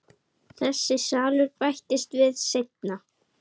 Þessi salur bættist við seinna.